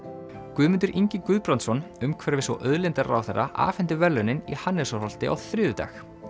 Guðmundur Ingi Guðbrandsson umhverfis og auðlindaráðherra afhenti verðlaunin í Hannesarholti á þriðjudag